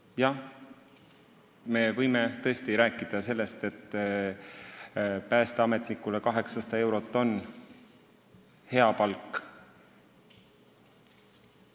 Jah, võib rääkida sellest, et päästeametnikule on 800 eurot hea palk.